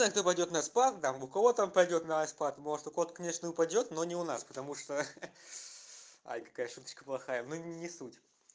это пойдёт на спад да там у кого-то там пойдёт на спад может у кого то конечно упадёт но не у нас потому что ха ха ай какая шуточка плохая ну не суть